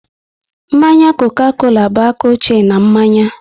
Mmanya Coca-Cola bụ aka ochie n'manya